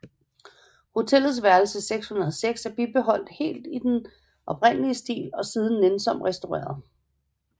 Hotellets værelse 606 er bibeholdt helt i den oprindelige stil og siden nænsomt restaureret